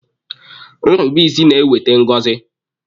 Nrubeisi na-eweta ngọzi.